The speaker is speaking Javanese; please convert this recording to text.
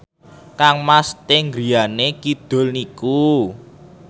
kangmas Sting griyane kidul niku